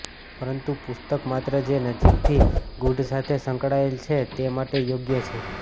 પરંતુ પુસ્તક માત્ર જે નજીકથી ગુઢ સાથે સંકળાયેલ છે તે માટે યોગ્ય છે